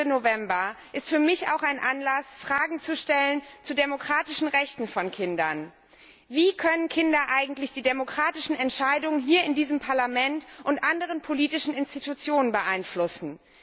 20. November, ist für mich auch ein Anlass, Fragen zu den demokratischen Rechten von Kindern zu stellen. Wie können Kinder eigentlich die demokratischen Entscheidungen hier in diesem Parlament und anderen politischen Institutionen beeinflussen?